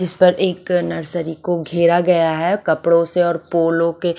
इस पर एक नर्सरी को घेरा गया है कपड़ो से और पोलो से--